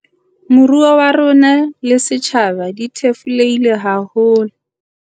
Moruo wa rona le setjhaba di thefulehile haholo.